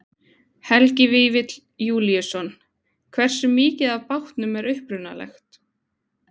Helgi Vífill Júlíusson: Hversu mikið af bátnum er upprunalegt?